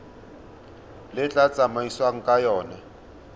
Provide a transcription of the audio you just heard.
le tla tsamaisiwang ka yona